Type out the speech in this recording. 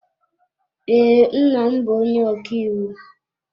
Ee, nna m bụ onye ọkàiwu.